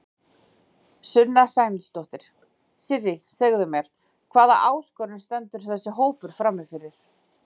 Sunna Sæmundsdóttir: Sirrý segðu mér, hvað hvaða áskorun stendur þessi hópur frammi fyrir?